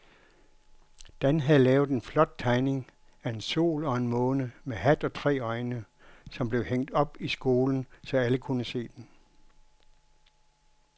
Dan havde lavet en flot tegning af en sol og en måne med hat og tre øjne, som blev hængt op i skolen, så alle kunne se den.